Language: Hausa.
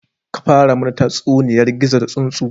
Ka fara mana tatsuniyar gizo da tsuntsu